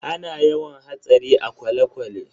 Ana yawan hatsari a kwale-kwale.